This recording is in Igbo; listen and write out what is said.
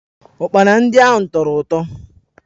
Ụkpana ndị ahụ tọrọ ụtọ